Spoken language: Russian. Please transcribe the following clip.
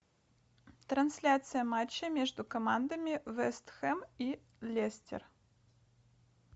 трансляция матча между командами вест хэм и лестер